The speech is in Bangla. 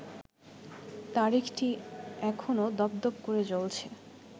তারিখটি এখনো দপদপ করে জ্বলছে